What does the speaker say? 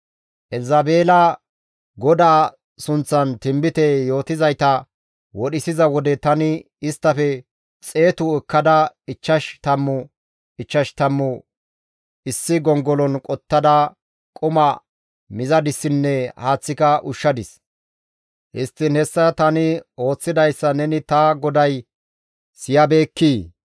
Elzabeela GODAA sunththan tinbite yootizayta wodhisiza wode tani isttafe xeetu asata ekkada ichchash tammu ichchash tammu issi gongolon qottada quma mizadissinne haaththika ushshadis. Histtiin hessa tani ooththidayssa neni ta goday siyabeekkii?